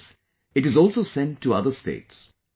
After this it is also sent to other states